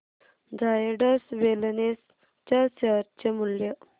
Zydus Wellness च्या share चे मूल्य